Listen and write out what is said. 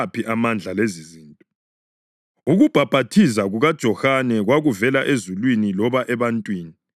Ukubhaphathiza kukaJohane, kwakuvela ezulwini loba ebantwini? Ngitshelani!”